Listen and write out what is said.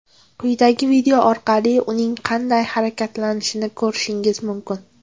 Quyidagi video orqali uning qanday harakatlanishini ko‘rishingiz mumkin.